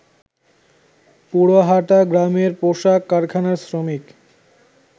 পুরাহাটা গ্রামের পোশাক কারখানার শ্রমিক